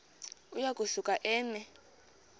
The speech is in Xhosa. uya kusuka eme